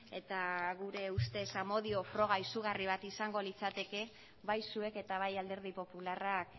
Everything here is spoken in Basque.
eta gure ustez amodio froga izugarri bat izango litzateke bai zuek eta bai alderdi popularrak